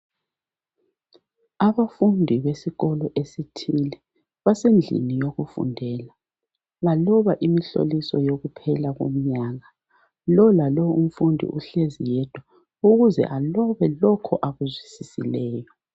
Abafundi besikolo esithile basendlini yokufundela baloba imihloliso yokuphela komnyaka lolalo umfundi uhlezi yedwa ukuze ablobe lokho akuzwisisileyo